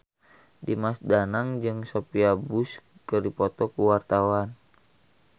Dimas Danang jeung Sophia Bush keur dipoto ku wartawan